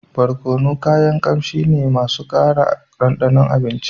Barkono kayan kamshi ne masu kara dandanon abinci